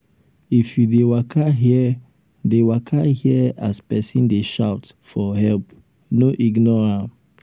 if you dey waka hear dey waka hear as pesin dey shout for help no ignore am.